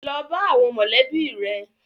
Lọ bá àwọn mọ̀lẹ́bí rẹ.